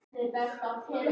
Munda andaði loksins.